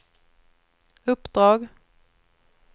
uppdrag